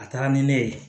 A taara ni ne ye